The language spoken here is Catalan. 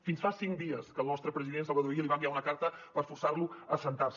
fins fa cinc dies que el nostre president salvador illa li va enviar una carta per forçar lo a asseure’s